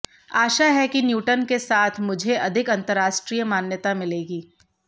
आशा है कि न्यूटन के साथ मुझो अधिक अंतरराष्ट्रीय मान्यता मिलेगी